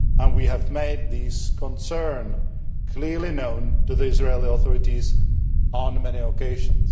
We have made these concerns clearly known to the Israeli authorities on many occasions.